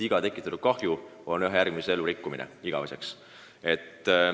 Iga selline tegu võib ühe inimese elu rikkuda igaveseks.